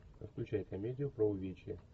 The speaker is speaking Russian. включай комедию про увечья